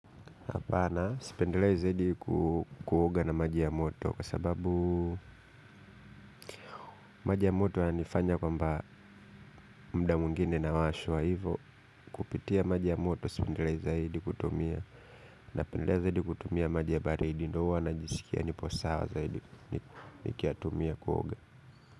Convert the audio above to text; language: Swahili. Sipendelei zaidi kuoga na maji ya moto kwa sababu maji ya moto yananifanya kwamba muda mwingine nawashwa hivyo kupitia maji ya moto sipendelei zaidi kutumia napendelea zaidi kutumia maji ya baridi ndio huwa najisikia nipo sawa zaidi nikiyatumia kuoga.